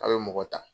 A' bɛ mɔgɔ ta